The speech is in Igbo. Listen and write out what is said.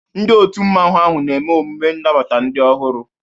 Ndị Òtù Mmanwu ahụ na-eme emume inabata ndị ọhụrụ.